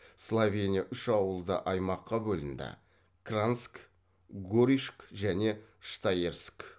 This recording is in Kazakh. словения үш ауылды аймаққа бөлінді кранськ горишк және штаерск